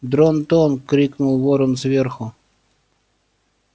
дрон-тон крикнул ворон сверху